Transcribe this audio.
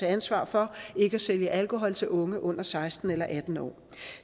et ansvar for ikke at sælge alkohol til unge under seksten eller atten år